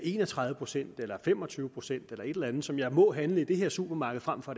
en og tredive procent eller fem og tyve procent eller et eller andet som jeg må handle i det her supermarked frem for